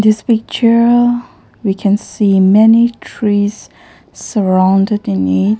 This picture we can see many trees surrounded in a --